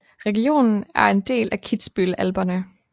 Regionen er en del af Kitzbühel Alperne